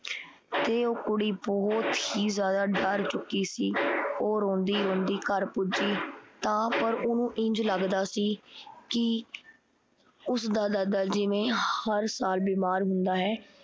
ਤੇ ਉਹ ਕੁੜੀ ਬਹੁਤ ਹੀ ਜ਼ਿਆਦਾ ਡਰ ਚੁੱਕੀ ਸੀ। ਉਹ ਰੋਂਦੀ-ਰੋਂਦੀ ਘਰ ਪੁੱਜੀ ਤਾਂ ਪਰ ਓਹਨੂੰ ਇੰਝ ਲੱਗਦਾ ਸੀ ਕੀ ਉਸਦਾ ਦਾਦਾ ਜਿਵੇਂ ਹਰ ਸਾਲ ਬਿਮਾਰ ਹੁੰਦਾ ਹੈ